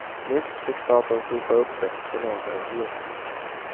Nyss fick staten sopa upp efter finansäventyren.